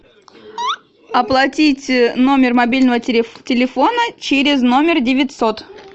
оплатить номер мобильного телефона через номер девятьсот